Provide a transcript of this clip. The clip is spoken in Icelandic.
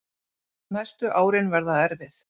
Næstu árin verða erfið